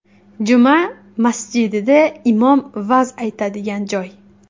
Juma masjidida imom va’z aytadigan joy.